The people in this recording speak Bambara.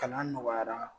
Kalan nɔgɔyara